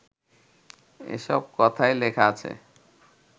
এসব কথাই লেখা আছে